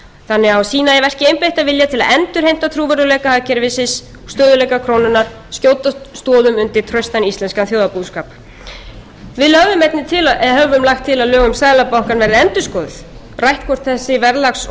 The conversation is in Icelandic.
þannig á að sýna í verki einbeittan vilja til að endurheimta trúverðugleika hagkerfisins stöðugleika krónunnar og skjóta stoðum undir traustan íslenskan þjóðarbúskap við lögðum einnig til höfðum lagt til að lög um seðlabankann yrðu endurskoðuð rætt hvort þessi verðlags